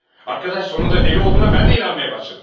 Arkadaş sonunda deli olduğuna mən də inanmaya başladım.